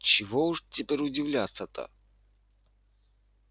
чего уж теперь удивляться-то